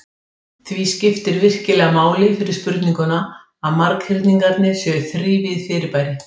Því skiptir virkilega máli fyrir spurninguna að marghyrningarnir séu þrívíð fyrirbæri.